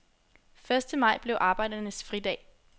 Første maj blev arbejdernes fridag.